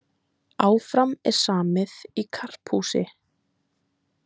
Áfram er samið í karphúsi